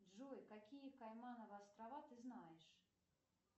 джой какие каймановы острова ты знаешь